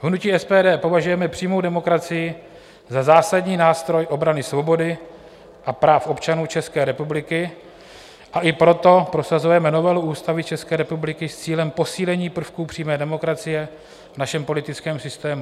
V hnutí SPD považujeme přímou demokracii za zásadní nástroj obrany svobody a práv občanů České republiky, a i proto prosazujeme novelu Ústavy České republiky s cílem posílení prvků přímé demokracie v našem politickém systému.